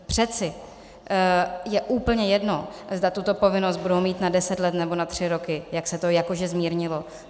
Přece je úplně jedno, zda tuto povinnost budou mít na deset let, nebo na tři roky, jak se to jakože zmírnilo.